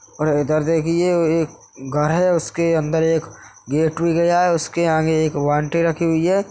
और इधर देखिये एक घर है उसके अंदर एक गेट भी गया हुआ है उसके आगे एक वाल्टी रखी हुई है।